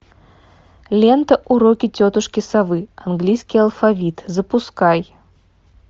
лента уроки тетушки совы английский алфавит запускай